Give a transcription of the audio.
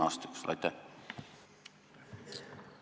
Just viimase kümne aasta jooksul.